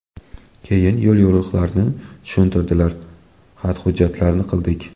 Keyin yo‘l-yo‘riqlarini tushuntirdilar, xat-hujjatlarini qildik.